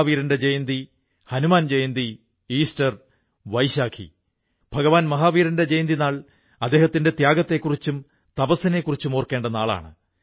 കമ്പനിയോടു ചോദിച്ചപ്പോൾ അവർ പറഞ്ഞത് ഭാരത് സർക്കാർ പുതിയ കാർഷികനിയമം ഉണ്ടാക്കിയിരിക്കയാണ് അതനുസരിച്ച് കർഷകർക്ക് ഭാരതത്തിൽ എവിടെയും വിളവ് വില്ക്കാൻ സാധിക്കും അവർക്ക് നല്ല വിലയും കിട്ടും